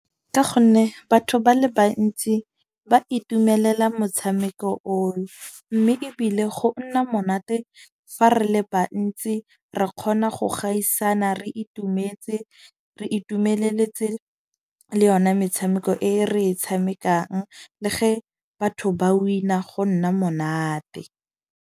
Ka gonne batho ba le bantsi ba itumelela motshameko oo. Mme ebile go nna monate fa re le bantsi re kgona go gaisana, re itumetse re itumeleletse le yona metshameko e re e tshamekang le ge batho ba win-a go nna monate.